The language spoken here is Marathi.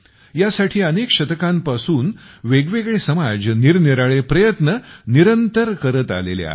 ह्या साठी अनेक शतकांपासून वेगवेगळे समाज निरनिराळे प्रयत्न निरंतर करत आलेले आहेत